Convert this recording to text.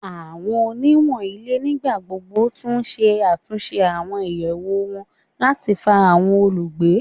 Awọn oniwun ile nigbagbogbo tun ṣe atunṣe awọn iyẹwu wọn lati fa awọn olugbe